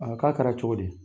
k'a kɛra cogo di?